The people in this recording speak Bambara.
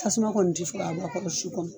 Tasuma kɔni tɛ se ka bɔ a kɔrɔ su kɔnɔ